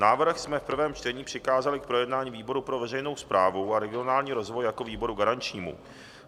Návrh jsme v prvém čtení přikázali k projednání výboru pro veřejnou správu a regionální rozvoj jako výboru garančnímu.